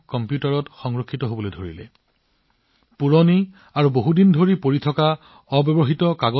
পুৰণি আৰু অমীমাংসিত সামগ্ৰী আঁতৰাবলৈ মন্ত্ৰালয় আৰু বিভাগসমূহতো বিশেষ অভিযান আৰম্ভ কৰা হৈছে